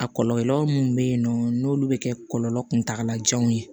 A kɔlɔlɔ minnu bɛ yen nɔ n'olu bɛ kɛ kɔlɔlɔ kuntagala janw ye